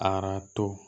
Arato